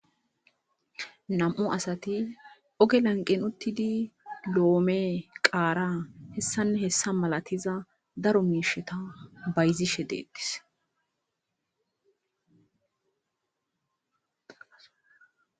nam7u asati oge lanqen uttidi loome qaara hessanne hessa malatiza daro miisheta bayzishe deettis